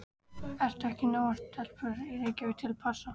Eru ekki nógar stelpur í Reykjavík til að passa?